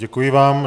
Děkuji vám.